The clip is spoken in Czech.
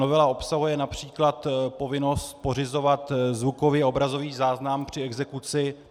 Novela obsahuje například povinnost pořizovat zvukový a obrazový záznam při exekuci.